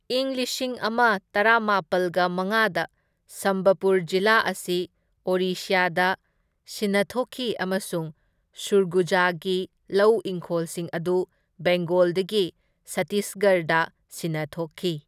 ꯢꯪ ꯂꯤꯁꯤꯡ ꯑꯃ ꯇꯔꯥꯃꯥꯄꯜꯒ ꯃꯉꯥꯗ ꯁꯝꯕꯄꯨꯔ ꯖꯤꯂꯥ ꯑꯁꯤ ꯑꯣꯔꯤꯁ꯭ꯌꯥꯗ ꯁꯤꯟꯅꯊꯣꯛꯈꯤ ꯑꯃꯁꯨꯡ ꯁꯨꯔꯒꯨꯖꯥꯒꯤ ꯂꯧ ꯏꯪꯈꯣꯜꯁꯤꯡ ꯑꯗꯨ ꯕꯦꯡꯒꯣꯜꯗꯒꯤ ꯁꯠꯇꯤꯁꯒꯔꯗ ꯁꯤꯟꯅꯊꯣꯛꯈꯤ꯫